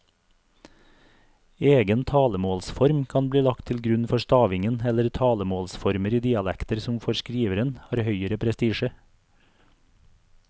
Egen talemålsform kan bli lagt til grunn for stavingen eller talemålsformer i dialekter som for skriveren har høgere prestisje.